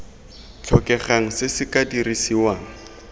tlhokegang se se tla dirisiwang